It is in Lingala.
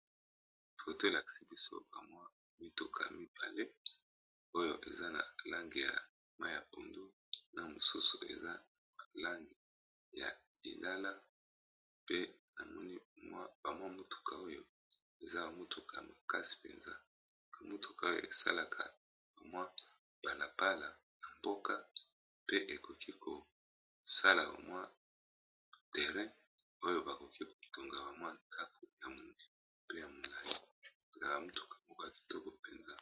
Photo oyo e lakisi biso ba mwa mituka ya mibale oyo eza na langi ya mai ya pondu na mosusu eza na ma langi ya lilala pe na moni ba mwa mituka oyo eza ba mituka makasi penza . Motuka oyo e salaka ba mwa balabala ya mboka pe ekoki ko sala ba bmwa terrain oyo ba koki ko tonga ba mwa ndaku ya monene pe ya molayli . Ba motuka moko ya kitoko penza .